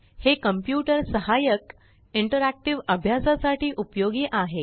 हे कॉम्प्युटर सहाय्यक इंटेरेकटीव अभ्यासासाठी उपयोगी आहे